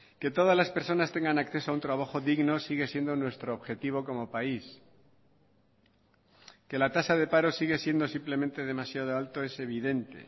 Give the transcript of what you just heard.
que todas las personas tengan acceso a un trabajo digno sigue siendo nuestro objetivo como país que la tasa de paro sigue siendo simplemente demasiado alto es evidente